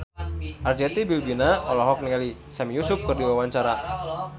Arzetti Bilbina olohok ningali Sami Yusuf keur diwawancara